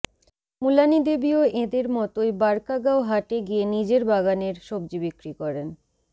মুলানিদেবীও এঁদের মতোই বারকাগাও হাটে গিয়ে নিজের বাগানের সবজি বিক্রি করেন